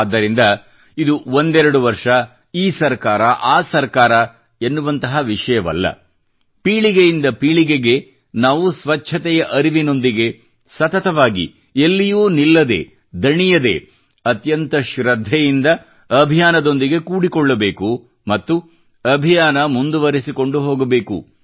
ಆದ್ದರಿಂದ ಇದು ಒಂದೆರಡು ವರ್ಷ ಈ ಸರಕಾರ ಆ ಸರಕಾರ ಎನ್ನುವಂತಹ ವಿಷಯವಲ್ಲ ಪೀಳಿಗೆಯಿಂದ ಪೀಳಿಗೆಗೆ ನಾವು ಸ್ವಚ್ಛತೆಯ ಅರಿವಿನೊಂದಿಗೆ ಸತತವಾಗಿ ಎಲ್ಲಿಯೂ ನಿಲ್ಲದೇ ದಣಿಯದೇ ಅತ್ಯಂತ ಶ್ರದ್ಧೆಯಿಂದ ಅಭಿಯಾನದೊಂದಿಗೆ ಕೂಡಿಕೊಳ್ಳಬೇಕು ಮತ್ತು ಅಭಿಯಾನ ಮುಂದುವರಿಸಿಕೊಂಡು ಹೋಗಬೇಕು